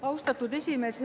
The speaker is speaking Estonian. Austatud esimees!